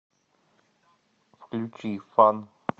включи фан